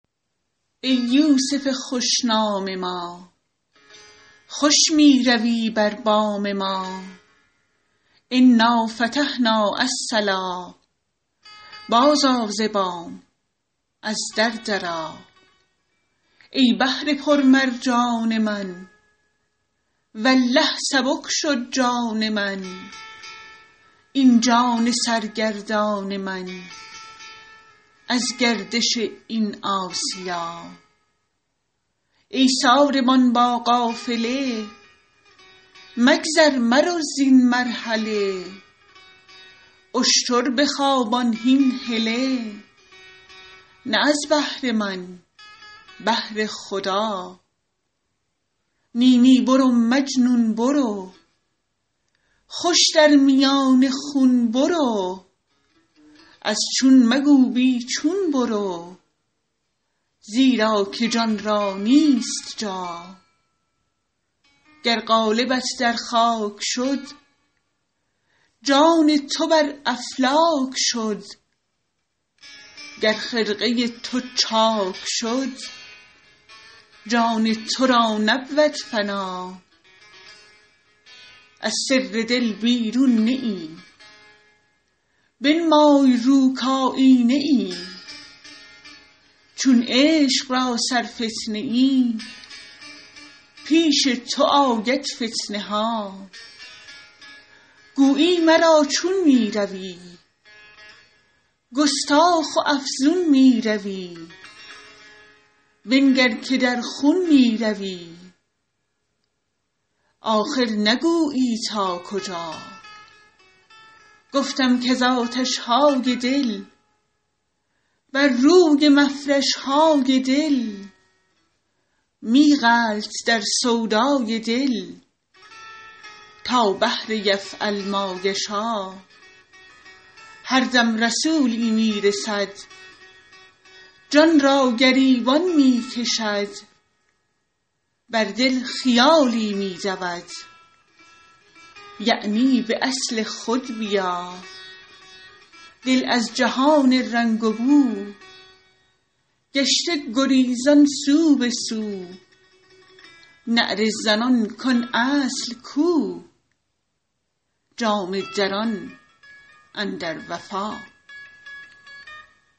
ای یوسف خوش نام ما خوش می روی بر بام ما انا فتحنا الصلا بازآ ز بام از در درآ ای بحر پرمرجان من والله سبک شد جان من این جان سرگردان من از گردش این آسیا ای ساربان با قافله مگذر مرو زین مرحله اشتر بخوابان هین هله نه از بهر من بهر خدا نی نی برو مجنون برو خوش در میان خون برو از چون مگو بی چون برو زیرا که جان را نیست جا گر قالبت در خاک شد جان تو بر افلاک شد گر خرقه تو چاک شد جان تو را نبود فنا از سر دل بیرون نه ای بنمای رو کایینه ای چون عشق را سرفتنه ای پیش تو آید فتنه ها گویی مرا چون می روی گستاخ و افزون می روی بنگر که در خون می روی آخر نگویی تا کجا گفتم کز آتش های دل بر روی مفرش های دل می غلط در سودای دل تا بحر یفعل ما یشا هر دم رسولی می رسد جان را گریبان می کشد بر دل خیالی می دود یعنی به اصل خود بیا دل از جهان رنگ و بو گشته گریزان سو به سو نعره زنان کان اصل کو جامه دران اندر وفا